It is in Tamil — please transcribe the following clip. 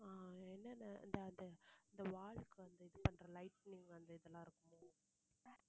ஆஹ் என்னென்ன அந்த இந்த wall க்கு வந்து இது பண்ற lighting அந்த இதெல்லாம் இருக்குமோ